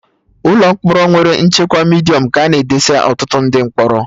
Ụlọ mkpọrọ nwere nchekwa Midiọm ka a na edesa ọtụtụ ndị mkpọrọ